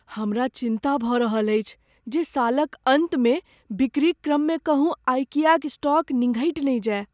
हमरा चिन्ता भऽ रहल अछि जे सालक अन्तमे बिक्रीक क्रममे कहूँ आइकियाक स्टॉक निंघटि ने जाय।